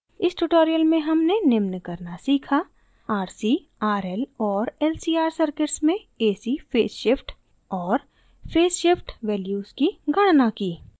इस tutorial में हमने निम्न करना सीखा